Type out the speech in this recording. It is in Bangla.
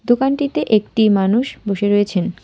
দোকানটিতে একটি মানুষ বসে রয়েছেন।